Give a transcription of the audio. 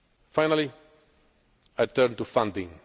President. Finally, I turn